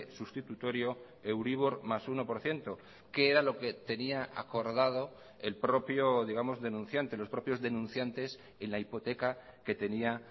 sustitutorio euribor más uno por ciento que era lo que tenía acordado el propio digamos denunciante los propios denunciantes en la hipoteca que tenía